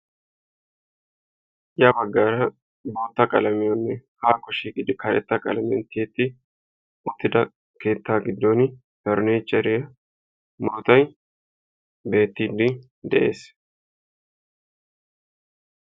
Ya baggaara bootta qaalamiyane hako shiiqidi karetta qaalamiyan tiyettidi uttida keetta gidon farnnichere bootay beetidi de'ees.